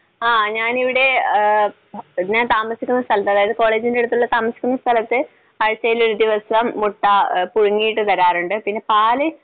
ങ്ഹാ, ഞാനിവിടെ ഞാൻ താമസിക്കുന്ന സ്ഥലത്ത് അതായത് കോളേജിന്റെ അടുത്തുള്ള താമസിക്കുന്ന സ്ഥലത്ത് ആഴ്ചയിലൊരു ദിവസം മുട്ട പുഴുങ്ങിയിട്ട് തരാറുണ്ട്. പിന്നെ പാൽ